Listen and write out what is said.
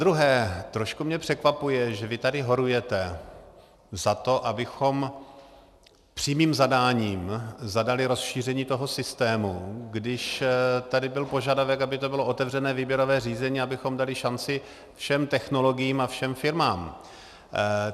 Zadruhé, trošku mě překvapuje, že vy tady horujete za to, abychom přímým zadáním zadali rozšíření toho systému, když tady byl požadavek, aby to bylo otevřené výběrové řízení, abychom dali šanci všem technologiím a všem firmám.